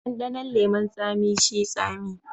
Dandanon leman tsami shi tsami.